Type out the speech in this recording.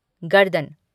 गर्दन